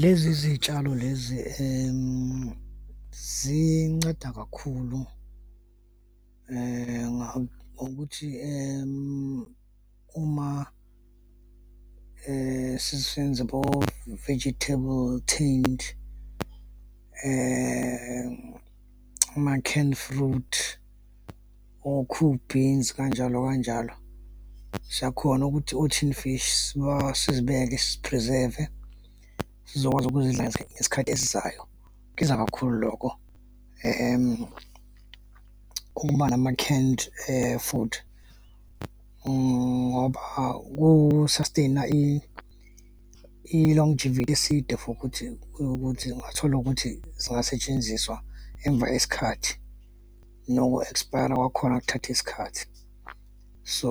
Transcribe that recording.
Lezi zitshalo lezi zinceda kakhulu ngokuthi uma sisenza abo-vegetable tinned, ama-canned fruit, o-KOO beans, kanjalo kanjalo, siyakhona ukuthi o-tin fish, sizibeke sizi-preserve sizokwazi ukuzidla ngesikhathi esizayo. kakhulu lokho ukuba nama-canned food ngoba ku-sustain-a i-long for ukuthi yokuthi ungathola ukuthi zingasetshenziswa emva esikhathi noku-expire-a kwakhona kuthatha isikhathi. So,